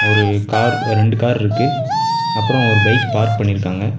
ஒரு கார் ரெண்டு கார்ருக்கு அப்றோ ஒரு பைக் பார்க் பண்ணிருக்காங்க.